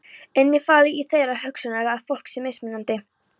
Innifalið í þeirri hugsjón er að fólk sé mismunandi.